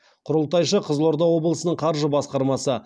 құрылтайшысы қызылорда облысының қаржы басқармасы